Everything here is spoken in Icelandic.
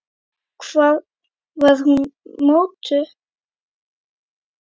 Hvar var hún mótuð?